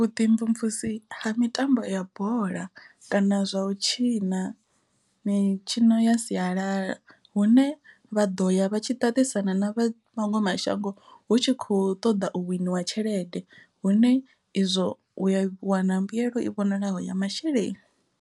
Vhuḓimvumvusi ha mitambo ya bola kana zwa u tshima mitshino ya sialala hu ne vha ḓo ya vha tshi ṱaṱisana na vhaṅwe mashango hu tshi kho ṱoḓa u winiwa tshelede hone izwo u wana mbuyelo i vhonalaho ya masheleni.